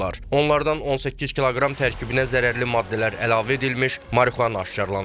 Onlardan 18 kiloqram tərkibinə zərərli maddələr əlavə edilmiş marixuana aşkar olunub.